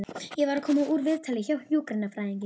Ég var að koma úr viðtali hjá hjúkrunarfræðingi.